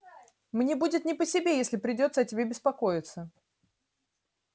мне будет не по себе если придётся о тебе беспокоиться